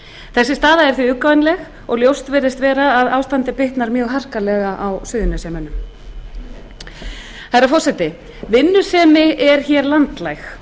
þessi staða er því uggvænleg og ljóst virðist vera að ástandið bitnar mjög harkalega á suðurnesjamönnum herra forseti vinnusemi er landlæg